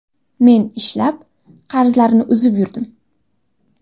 Men ishlab, qarzlarni uzib yurdim.